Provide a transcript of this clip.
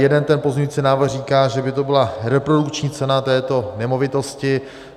Jeden ten pozměňující návrh říká, že by to byla reprodukční cena této nemovitosti.